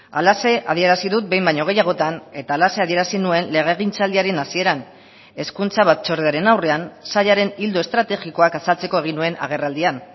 halaxe adierazi dut behin baino gehiagotan eta halaxe adierazi nuen legegintzaldiaren hasieran hezkuntza batzordearen aurrean sailaren ildo estrategikoak azaltzeko egin nuen agerraldian